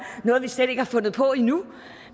noget vi slet ikke har fundet på endnu